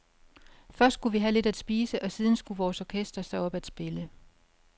Først skulle vi have lidt at spise, og siden skulle vores orkester så op at spille.